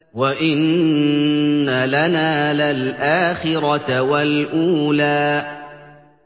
وَإِنَّ لَنَا لَلْآخِرَةَ وَالْأُولَىٰ